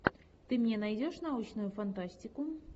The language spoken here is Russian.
ты мне найдешь научную фантастику